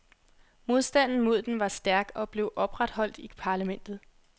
Modstanden mod den var stærk og blev opretholdt i parlamentet.